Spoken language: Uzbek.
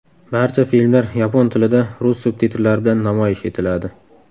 Barcha filmlar yapon tilida rus subtitrlari bilan namoyish etiladi.